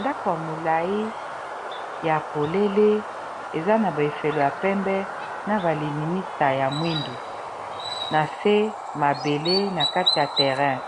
Ndako ya molayi ya polele eza na ba efelo ya pembe na ba lininisa ya mwindu na se mabele na kati ya terrain